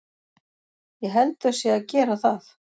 Ég held þau séu að gera það.